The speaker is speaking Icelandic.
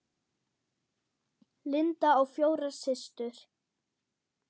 Linda á fjórar systur.